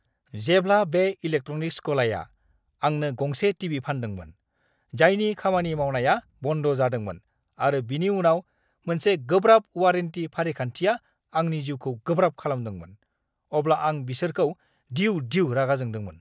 जेब्ला बे इलेक्ट्रनिक्स गलाया आंनो गंसे टीवी फानदोंमोन, जायनि खामानि मावनाया बन्द जादोंमोन आरो बिनि उनाव मोनसे गोब्राब वारेन्टी-फारिखान्थिआ आंनि जिउखौ गोब्राब खालामदोंमोन, अब्ला आं बिसोरखौ दिउ-दिउ रागा जोंदोंमोन!